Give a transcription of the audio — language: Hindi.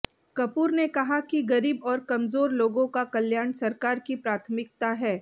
कपूर ने कहा कि गरीब और कमजोर लोगों का कल्याण सरकार की प्राथमिकता है